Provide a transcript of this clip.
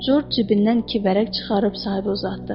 Corc cibindən iki vərəq çıxarıb sahibə uzatdı.